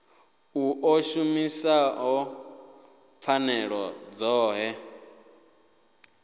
u ḓo shumisa pfanelo dzoṱhe